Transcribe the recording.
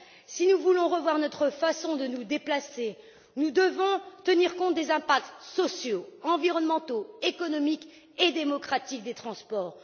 Si nous voulons revoir notre façon de nous déplacer, nous devons tenir compte des impacts sociaux, environnementaux, économiques et démocratiques des transports.